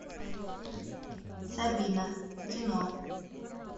сабина кино